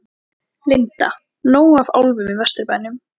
Linda: Nóg af álfum í Vesturbænum?